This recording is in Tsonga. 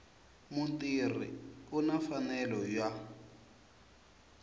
mutirhi u na mfanelo ya